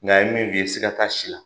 Nka ni ye bi ye siga ka taa si la.